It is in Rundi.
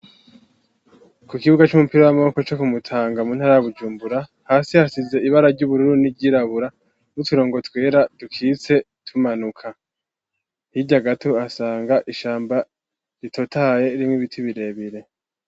Kukibuga c'umupira w'amaboko co Kumutanga mu ntara ya Bujumbura, hasi hasize ibara ry'ubururu n'iryirabura, n'uturongo twera dukitse tumanuka, hirya gato uhasanga ishamba ritotahaye ririmw'ibiti birebire.